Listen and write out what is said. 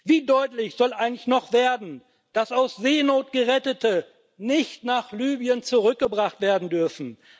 Wie deutlich soll eigentlich noch werden, dass aus Seenot Gerettete nicht nach Libyen zurückgebracht werden dürfen?